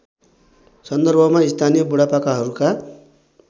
सन्दर्भमा स्थानीय बुढापाकाहरूका